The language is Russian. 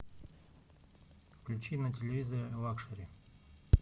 включи на телевизоре лакшери